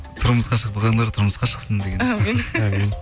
тұрмысқа шықпағандар тұрмысқа шықсын әумин